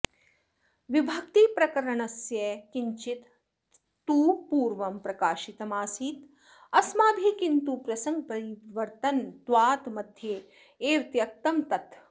विभक्तिप्रकरणस्य किंचित् तु पूर्वं प्रकाशितमासीत् अस्माभिः किन्तु प्रसंगपरिवर्तनत्वात् मध्ये एव त्यक्तं तत्